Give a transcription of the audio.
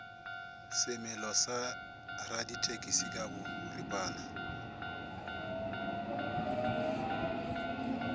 semelo sa radithekisi ka boripana